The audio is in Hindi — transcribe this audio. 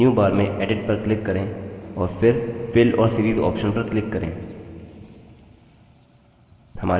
अब menu bar में edit पर click करें और फिर fill और series option पर click करें